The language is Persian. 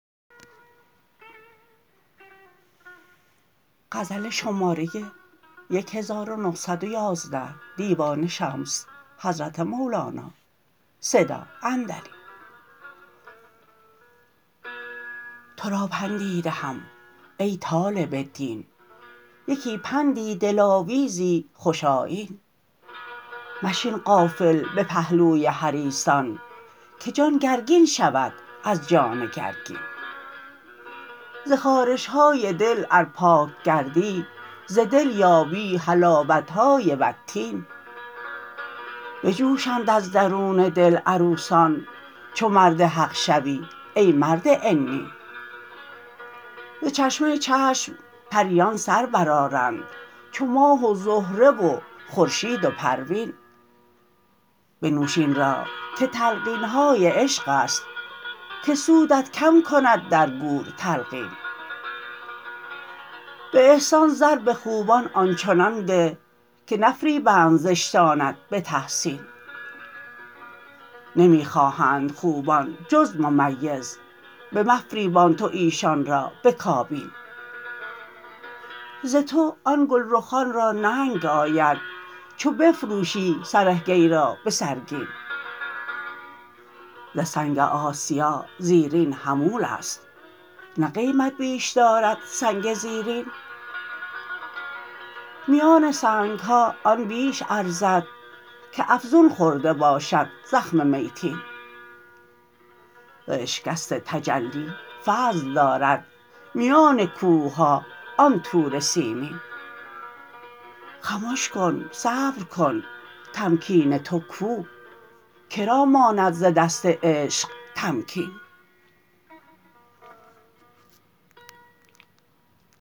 تو را پندی دهم ای طالب دین یکی پندی دلاویزی خوش آیین مشین غافل به پهلوی حریصان که جان گرگین شود از جان گرگین ز خارش های دل ار پاک گردی ز دل یابی حلاوت های والتین بجوشند از درون دل عروسان چو مرد حق شوی ای مرد عنین ز چشمه چشم پریان سر برآرند چو ماه و زهره و خورشید و پروین بنوش این را که تلقین های عشق است که سودت کم کند در گور تلقین به احسان زر به خوبان آن چنان ده که نفریبند زشتانت به تحسین نمی خواهند خوبان جز ممیز بمفریبان تو ایشان را به کابین ز تو آن گلرخان را ننگ آید چو بفروشی تو سرگی را به سرگین ز سنگ آسیا زیرین حمول است نه قیمت بیش دارد سنگ زیرین میان سنگ ها آن بیش ارزد که افزون خورده باشد زخم میتین ز اشکست تجلی فضل دارد میان کوه ها آن طور سینین خمش کن صبر کن تمکین تو کو که را ماند ز دست عشق تمکین